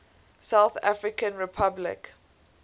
south african republic